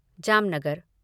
Jamnagar